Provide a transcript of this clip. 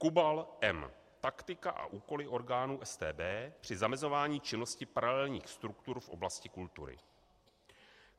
KUBAL, M.: Taktika a úkoly orgánů StB při zamezování činnosti paralelních struktur v oblasti kultury.